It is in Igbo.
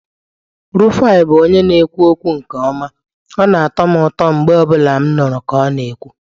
Rufai bụ onye na-ekwu okwu nke ọma, ọ na-atọ m ụtọ mgbe ọ bụla m nụrụ ka ọ na-ekwu.